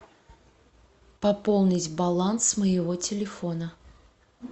пополнить баланс моего телефона